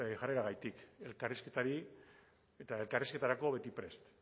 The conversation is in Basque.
jarreragatik elkarrizketari eta elkarrizketarako beti prest